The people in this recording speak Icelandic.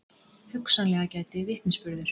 Hugsanlega gæti vitnisburður